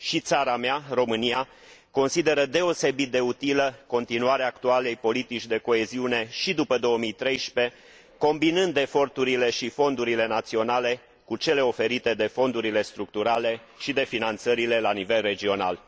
Și țara mea, România, consideră deosebit de utilă continuarea actualei politici de coeziune și după 2013, combinând eforturile și fondurile naționale cu cele oferite de fondurile structurale și de finanțările la nivel regional.